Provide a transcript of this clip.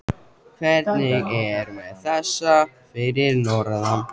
Hvernig er með þessa fyrir norðan?